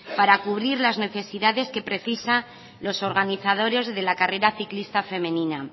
para cubrir las necesidades que precisan los organizadores de la carrera ciclista femenina